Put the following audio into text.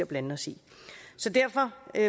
blande os i så derfor